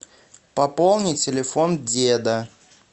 пополни телефон деда